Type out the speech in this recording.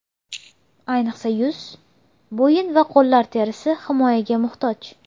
Ayniqsa yuz, bo‘yin va qo‘llar terisi himoyaga muhtoj.